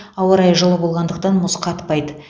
ауа райы жылы болғандықтан мұз қатпайды